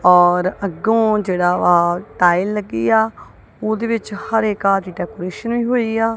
ਔਰ ਅੱਗੋਂ ਜਿਹੜਾ ਵਾ ਟਾਈਲ ਲੱਗੀ ਆ ਉਹਦੇ ਵਿੱਚ ਹਰੇ ਘਾਹ ਦੀ ਡੈਕੋਰੇਸ਼ਨ ਵੀ ਹੋਈ ਆ।